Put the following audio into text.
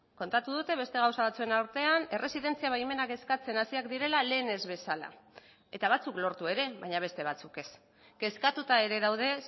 kontatu dute beste gauza batzuen artean erresidentzia baimenak eskatzen hasiak direla lehen ez bezala eta batzuk lortu ere baina beste batzuk ez kezkatuta ere daude